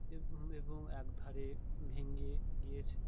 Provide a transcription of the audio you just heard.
এবং এবং একধারে ভেঙে গিয়েছে |